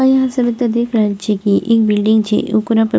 और आहाँ सब एता देख रहल छीये की एक बिल्डिंग छै ओकरा पर --